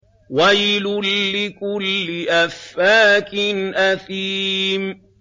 وَيْلٌ لِّكُلِّ أَفَّاكٍ أَثِيمٍ